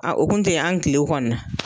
A kun tɛ yen, an tile kɔni na.